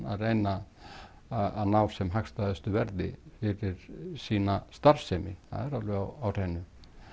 að reyna að ná sem hagstæðustu verði fyrir sína starfsemi það er alveg á hreinu